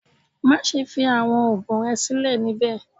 Maṣe fi awọn oogun rẹ silẹ nibẹ!